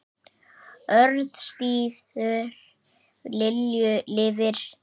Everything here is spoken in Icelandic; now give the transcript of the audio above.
Orðstír Lilju lifir.